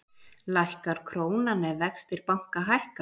Lækkar krónan ef vextir banka hækka?